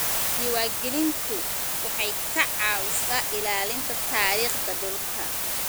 Diiwaangelintu waxay ka caawisaa ilaalinta taariikhda dhulka.